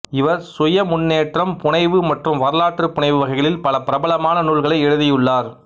இவர் சுயமுன்னேற்றம் புனைவு மற்றும் வரலாற்று புனைவு வகைகளில் பல பிரபலமான நூல்களை எழுதியுள்ளார்